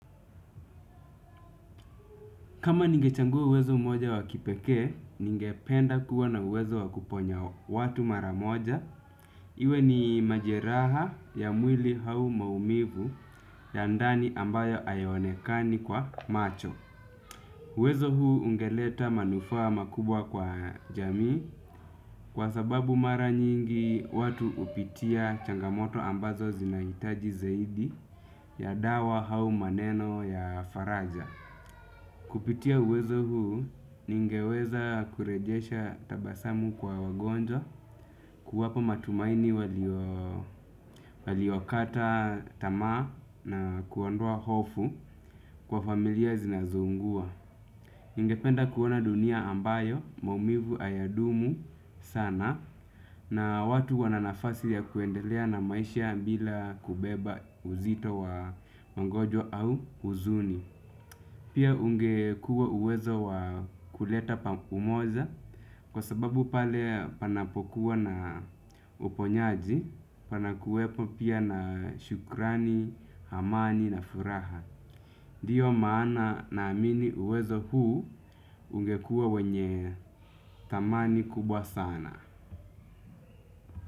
Kama ninge chagua uwezo mmoja wa kipekee, ningependa kuwa na uwezo wa kuponya watu mara moja. Iwe ni majeraha ya mwili hau maumivu ya ndani ambayo hayaonekani kwa macho. Uwezo huu ungeleta manufaa makubwa kwa jamii kwa sababu mara nyingi watu hupitia changamoto ambazo zinahitaji zaidi ya dawa au maneno ya faraja. Kupitia uwezo huu, ningeweza kurejesha tabasamu kwa wagonjwa, kuwapa matumaini waliokata tamaa na kuondoa hofu kwa familia zinazo ungua. Ningependa kuona dunia ambayo maumivu hayadumu sana na watu wananafasi ya kuendelea na maisha bila kubeba uzito wa magonjwa au huzuni. Pia ungekuwa uwezo wa kuleta pa umoja kwa sababu pale panapokuwa na uponyaji panakuwepo pia na shukurani, amani na furaha. Ndio maana naamini uwezo huu ungekuwa wenye thamani kubwa sana.